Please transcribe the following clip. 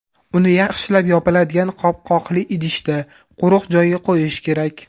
Uni yaxshilab yopiladigan qopqoqli idishda, quruq joyga qo‘yish kerak.